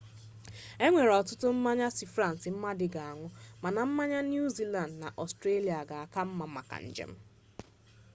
enwere ọtụtụ mmanya si frans mmadụ ga-aṅụ mana mmanya niu ziland na ọstrelia ga-aka mma maka njem